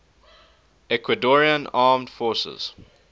ecuadorian armed forces